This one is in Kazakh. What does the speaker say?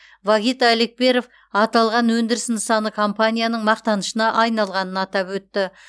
вагит алекперов аталған өндіріс нысаны компанияның мақтанышына айналғанын атап өтті